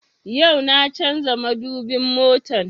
Yau na canza madubin motan